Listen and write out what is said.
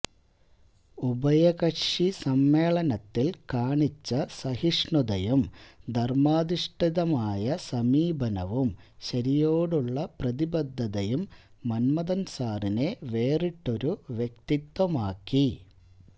ഉഭയകക്ഷി സമ്മേളനത്തില് കാണിച്ച സഹിഷ്ണുതയും ധര്മ്മാധിഷ്ഠിതമായ സമീപനവും ശരിയോടുള്ള പ്രതിബദ്ധതയും മന്മഥന്സാറിനെ വേറിട്ടൊരു വ്യക്തിത്വമാക്കി